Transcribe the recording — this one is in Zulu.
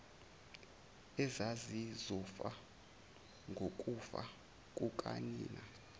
ezazizofa ngokufa kukanina